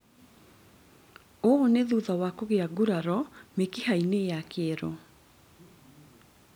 Ũũ nĩ thutha wa kũgĩa nguraro mĩkiha-inĩ ya kĩero